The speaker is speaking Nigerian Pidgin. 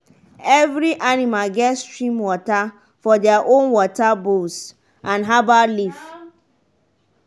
every animal get stream water for their own water bowls and herbal leaf.